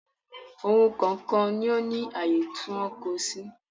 Ohun kọ̀ọ̀kan ló ní àyè tí wọ́n ń kó o sí